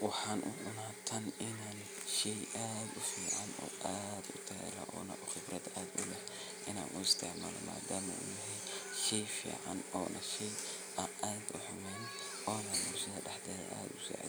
Marka wacyigelinta la sameeyo, talaabada labaad waxay noqonaysaa in la diyaariyo dhul ku habboon beeraleynta. Bulshada waa